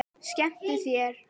Skemmtu þér.